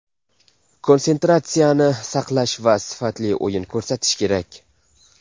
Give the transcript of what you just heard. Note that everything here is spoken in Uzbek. Konsentratsiyani saqlash va sifatli o‘yin ko‘rsatish kerak.